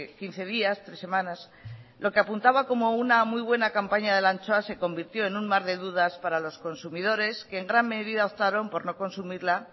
quince días tres semanas lo que apuntaba como una muy buena campaña de la anchoa se convirtió en un mar de dudas para los consumidores que en gran medida optaron por no consumirla